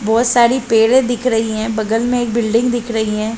बहुत सारी पेड़े दिख रही है बगल में एक बिल्डिंग दिख रही हैं।